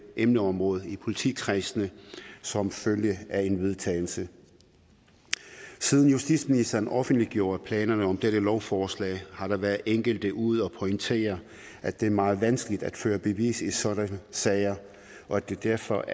emneområde i politikredsene som følge af en vedtagelse siden justitsministeren offentliggjorde planerne om dette lovforslag har der været enkelte ude at pointere at det er meget vanskeligt at føre bevis i sådanne sager og at det derfor